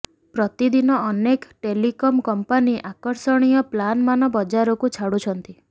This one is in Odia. ପ୍ରତିଦିନ ଅନେକ ଟେଲିକମ କମ୍ପାନି ଆକର୍ଷଣୀୟ ପ୍ଲାନମାନ ବଜାରକୁ ଛାଡୁଛନ୍ତି